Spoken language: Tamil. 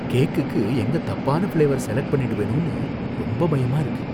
கேக்குக்கு எங்க தப்பான ஃபிளேவர் செலக்ட் பண்ணிடுவேனோனு ரொம்ப பயமா இருக்கு.